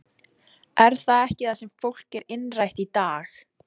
Er það ekki það sem fólki er innrætt í dag?